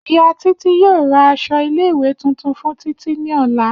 Iya Titi yoo ra aṣọ ile-iwe tuntun fun Titi ni ọla.